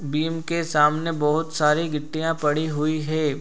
Beam के सामने बहुत सारी गिट्टियाँ पड़ी हुई है।